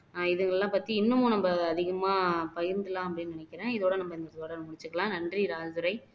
இதுகள்லாம் பத்தி இன்னமும் நம்ம அதிகமா பயின்றுரலாம் அப்படின்னு நினைக்கிறேன் இதோட நம்ம இன்னைக்கு உரையை முடிச்சுக்கலாம் நன்றி ராஜதுரை